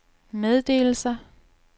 meddelelser